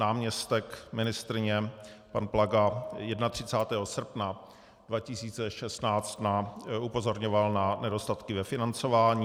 Náměstek ministryně pan Plaga 31. srpna 2016 upozorňoval na nedostatky ve financování.